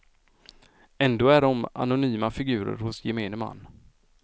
Ändå är de anonyma figurer hos gemene man.